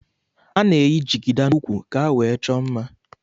Ana eyi jigida na úkwú ka ewee chọọ mmá.